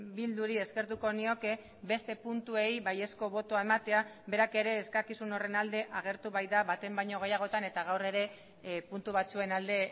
bilduri eskertuko nioke beste puntuei baiezko botoa ematea berak ere eskakizun horren alde agertu baita baten baino gehiagotan eta gaur ere puntu batzuen alde